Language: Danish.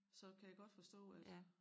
Så kan jeg godt forstå at